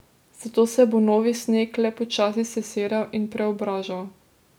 Zato se bo novi sneg le počasi sesedal in preobražal.